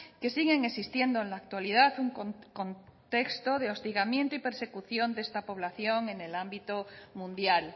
que siguen existiendo en la actualidad un contexto de hostigamiento y persecución de esta población en el ámbito mundial